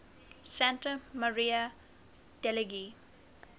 santa maria degli